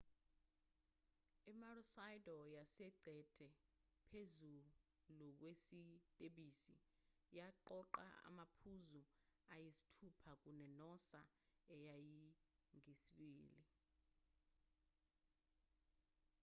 i-maroochydore yayiqede phezulu kwesitebhisi yaqoqa amaphuzu ayisithupha kune-noosa eyayingeyesibili